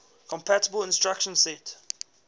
compatible instruction set